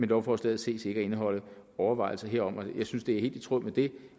lovforslaget ses ikke at indeholde overvejelser herom jeg synes det er helt i tråd med det